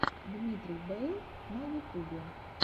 дмитрий бэйл на ютубе